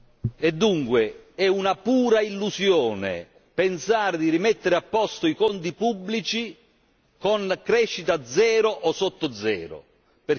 pensare di rimettere a posto i conti pubblici con crescita zero o sotto zero, perché i proventi dello Stato si riducono.